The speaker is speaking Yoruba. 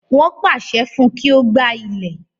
Wọ́n pàṣẹ fún pé kí ó gbá ilẹ̀.